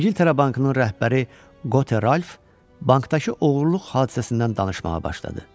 İngiltərə Bankının rəhbəri Qote Ralf bankdakı oğurluq hadisəsindən danışmağa başladı.